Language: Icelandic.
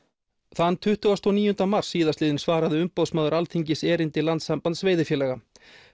þann tuttugasta og níunda mars síðastliðinn svaraði Umboðsmaður Alþingis erindi Landssambands veiðifélaga